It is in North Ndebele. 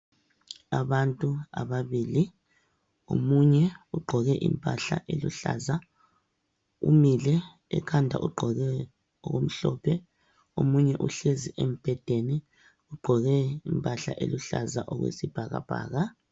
Abantu ababili omunye ugqoke impahla eluhlaza umile ekhanda ugqoke okumhlophe omunye uhlezi embhedeni ugqoke impahla eluhlaza okwesibhakabhaka.